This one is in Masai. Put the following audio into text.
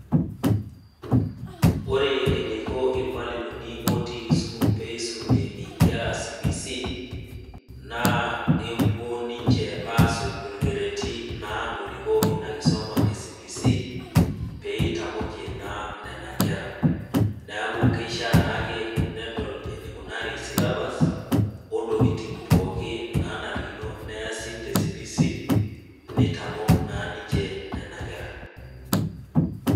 Ore eneiko ilmwalimuni ootiii Kisumu peeisumie inkera e CBC, naa epuo naa ninche asujaa olkereti osujaa ina kisuma e CBC, pee eitamokie naa nena kera, neaku keishaa naake pee edol eneikunari syllabus o ntokitin pookin naanarikino neasi, te CBC neitmok naa ninche nena kera.